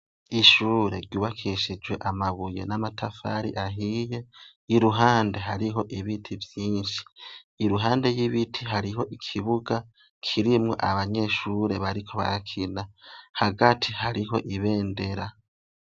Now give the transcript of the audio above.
Ishure ryubakishijwe amabuye n'amatafari ahiye iruhande hariho ibiti vyinshi. Iruhande yibiti hariho ikibuga kirimwo abanyeshure bariko barakina hagati hariho ibendera.